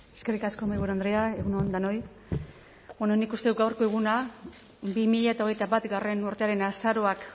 eskerrik asko mahaiburu andrea egun on denoi bueno nik uste dut gaurko eguna bi mila hogeita batgarrena urtearen azaroak